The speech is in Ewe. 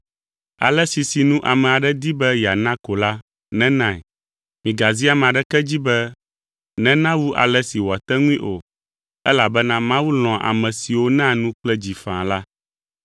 Ale si sinu ame aɖe di be yeana ko la nenae; migazi ame aɖeke dzi be nena wu ale si wòate ŋui o, elabena Mawu lɔ̃a ame siwo naa nu kple dzi faa la.